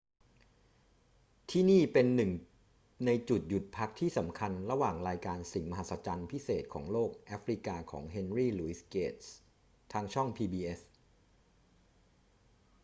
ที่นี่เป็นหนึ่งในจุดหยุดพักที่สำคัญระหว่างรายการสิ่งมหัศจรรย์พิเศษของโลกแอฟริกาของ เฮนรี หลุยส์ เกตส์ ทางช่อง pbs